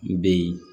N bɛ yen